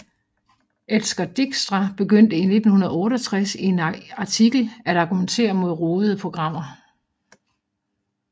Edsger Dijkstra begyndte i 1968 i en artikel at argumentere mod rodede programmer